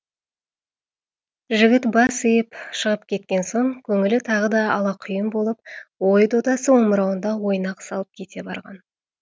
жігіт бас иіп шығып кеткен соң көңілі тағы да алақұйын болып ой додасы омырауында ойнақ салып кете барған